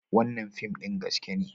Wannan fim ɗin gaske ne.